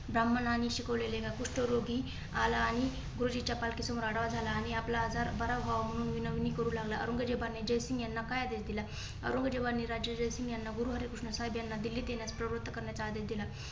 ब्राम्हण आणि शिकवलेले कुष्ठरोगी आला आणि खुर्ची चा पालखी समोर आडवा झाला आणि आपला आजार बरा व्हावा म्हणून विनवणी करू लागला. औरंगजेबाने जयसिंग यांना काय आदेश दिला? औरंगजेबाने राजा जयसिंग याना गुरुहरिकृष्ण साहेबयाना दिल्लीत येण्यास प्रवृत्त करण्याचा आदेश दिला.